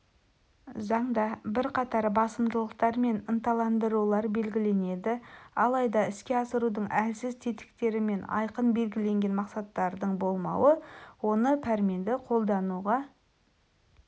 заңда бірқатар басымдықтар мен ынталандырулар белгіленеді алайда іске асырудың әлсіз тетіктері мен айқын белгіленген мақсаттардың болмауы оны пәрменді қолдануға